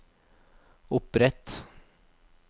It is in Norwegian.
opprett